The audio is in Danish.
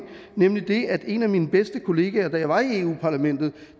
nemlig at en af mine bedste kolleger da jeg var i europa parlamentet